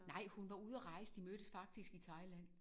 Nej hun var ude at rejse. De mødtes faktisk i Thailand